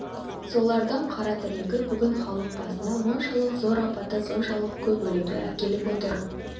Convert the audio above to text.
солардың қара тілегі бүгін халық басына мұншалық зор апатты соншалық көп өлімді әкеліп отыр